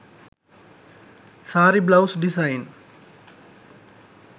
saree blouse design